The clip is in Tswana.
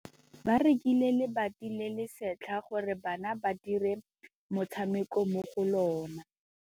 Ba rekile lebati le le setlha gore bana ba dire motshameko mo go lona.